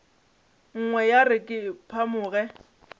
nngwe ya re ke phamoge